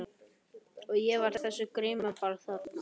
Og ég var á þessu grímuballi þarna.